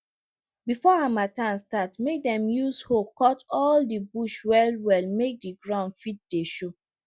before harmattan start make dem use hoe take cut all de bush well well make de ground fit dey show